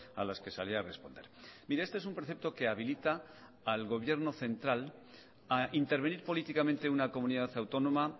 a las que salí a responder mire este es un precepto que habilita al gobierno central a intervenir políticamente una comunidad autónoma